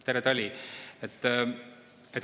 Tere tali!